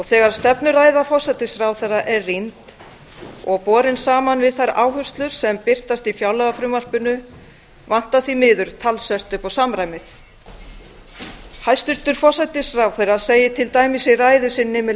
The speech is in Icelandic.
þegar stefnuræða forsætisráðherra er rýnd og borin saman við þær áherslur sem birtast í fjárlagafrumvarpinu vantar því miður talsvert upp á samræmið ég nefni nokkur dæmi hæstvirtur forsætisráðherra segir í ræðu sinni með